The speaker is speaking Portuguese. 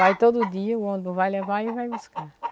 Vai todo dia, o ônibus vai levar e vai buscar.